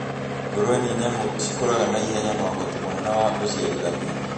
Ngũrũwe nĩ nyamũ cikũraga naihenya na ũhoti mũnene wa ũciarithania,